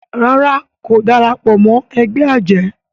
ràrá kò darapọ̀ mọ ègbé ajé.